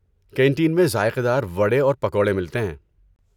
Canteen میں ذائقے دار وڈے اور پکوڑے ملتے ہیں۔